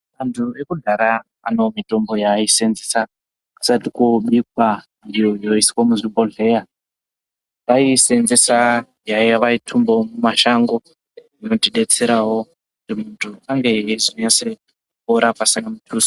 Antu ekudhara ane mitombo yaasenzesa kusati kwobikw aiyo yoiswe muzvibhodhleya vaisenzesa yavaitumbe mumashango inotidetserawo kuti muntu ange eizonyase kupora pasine mutuso.